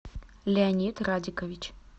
леонид радикович